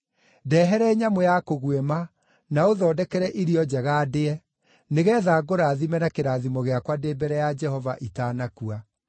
‘Ndehere nyamũ ya kũguĩma na ũthondekere irio njega ndĩe, nĩgeetha ngũrathime na kĩrathimo gĩakwa ndĩ mbere ya Jehova itanakua.’